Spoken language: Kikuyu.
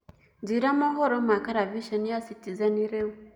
njĩĩra mohoro ma karavĩshenĩ ya citizen riu